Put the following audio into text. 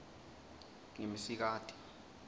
ngimsikati